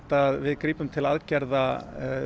að við grípum til aðgerða